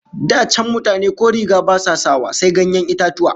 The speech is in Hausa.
Da can mutane ko riga ba sa sawa, sai ganyen itatuwa